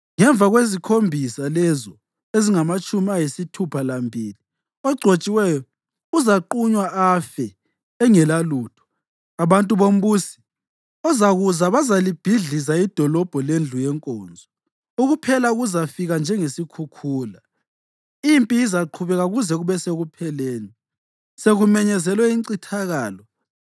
Ngemva ‘kwezikhombisa’ lezo ezingamatshumi ayisithupha lambili oGcotshiweyo uzaqunywa afe engelalutho. Abantu bombusi ozakuza bazalibhidliza idolobho lendlu yenkonzo. Ukuphela kuzafika njengesikhukhula: Impi izaqhubeka kuze kube sekupheleni, sekumenyezelwe incithakalo.